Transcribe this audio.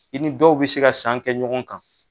I ni dɔw bɛ se ka san kɛ ɲɔgɔn kan.